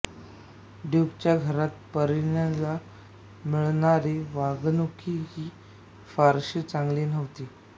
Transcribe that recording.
ड्यूकच्या घरात पारीनीला मिळणारी वागणूकही फारशी चांगली नवती